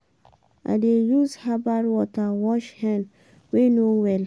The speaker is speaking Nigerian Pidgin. i dey use herbal water wash hen wey no well.